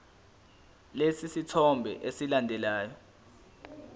lesi sithombe esilandelayo